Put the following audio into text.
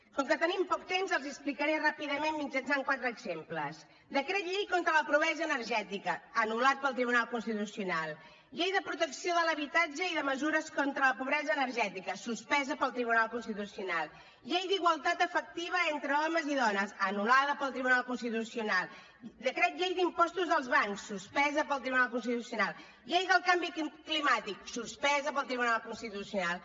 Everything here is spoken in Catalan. com que tenim poc temps els hi explicaré ràpidament mitjançant quatre exemples decret llei contra la pobresa energètica anul·lat pel tribunal constitucional llei de protecció de l’habitatge i de mesures contra la pobresa energètica suspesa pel tribunal constitucional llei d’igualtat efectiva entre homes i dones anul·lada pel tribunal constitucional decret llei d’impostos als bancs suspesa pel tribunal constitucional llei del canvi climàtic suspesa pel tribunal constitucional